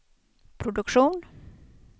produktion